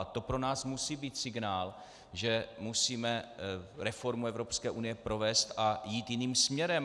A to pro nás musí být signál, že musíme reformu Evropské unie provést a jít jiným směrem.